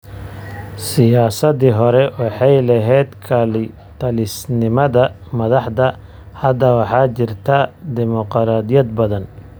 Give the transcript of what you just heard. Siyaasaddii hore waxay lahayd kalitalisnimada madaxda. Hadda waxaa jirta dimoqraadiyad badan.